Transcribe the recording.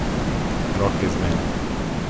Roke z mene!